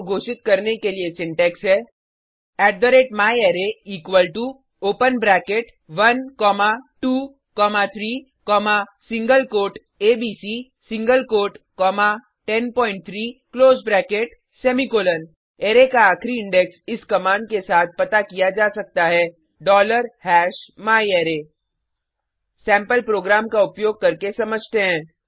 array को घोषित करने के लिए सिंटेक्स है myArray equal to open bracket 1 comma 2 comma 3 comma single quote A B C single quote comma 103 close bracket semicolon array का आखिरी इंडेक्स इस कमांड के साथ पता किया जा सकता है myArray सैंपल प्रोग्राम का उपयोग करके समझते हैं